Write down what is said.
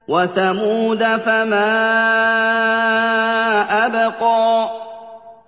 وَثَمُودَ فَمَا أَبْقَىٰ